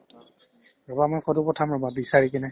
ৰ'বা মই ফটো পঠাম ৰ'বা বিচাৰি কিনে